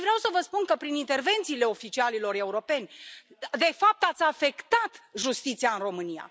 Și vreau să vă spun că prin intervențiile oficialilor europeni de fapt ați afectat justiția în România.